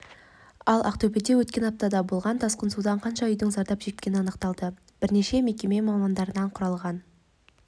ал ақтөбеде өткен аптада болған тасқын судан қанша үйдің зардап шеккені анықталды бірнеше мекеме мамандарынан құралған